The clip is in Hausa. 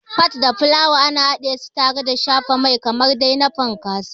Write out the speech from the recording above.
Fat da fulawa ana hadesu tare da shafa mai da yatsu kamar dai na Pancakes.